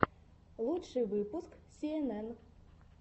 лучший выпуск си эн эн